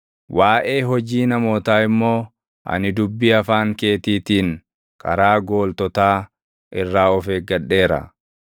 Waaʼee hojii namootaa immoo ani dubbii afaan keetiitiin karaa gooltotaa irraa of eeggadheera.